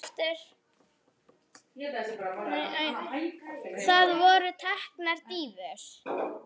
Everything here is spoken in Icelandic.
Það voru teknar dýfur.